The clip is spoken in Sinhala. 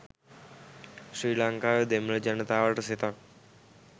ශ්‍රී ලංකාවේ දෙමළ ජනතාවට සෙතක්